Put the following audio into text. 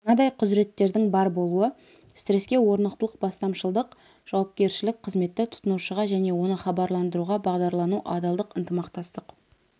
мынадай құзыреттердің бар болуы стресске орнықтылық бастамашылдық жауапкершілік қызметті тұтынушыға және оны хабарландыруға бағдарлану адалдық ынтымақтастық